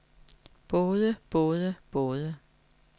både både både